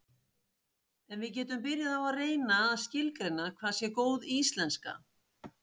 en við getum byrjað á að reyna að skilgreina hvað sé góð íslenska